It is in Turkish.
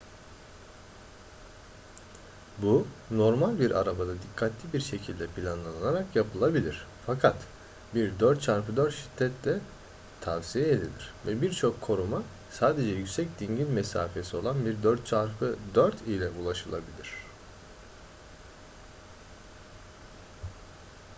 bu normal bir arabada dikkatli bir şekilde planlanarak yapılabilir fakat bir 4x4 şiddetle tavsiye edilir ve birçok konuma sadece yüksek dingil mesafesi olan bir 4x4 ile ulaşılabilir